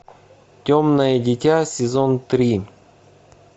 темное дитя сезон три